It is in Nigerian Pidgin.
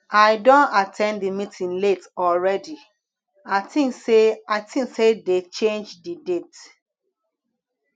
i don at ten d the meeting late already i think say i think say dey change the date